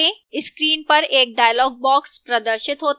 screen पर एक dialog box प्रदर्शित होता है